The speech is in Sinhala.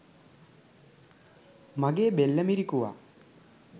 මගේ බෙල්ල මිරිකුවා.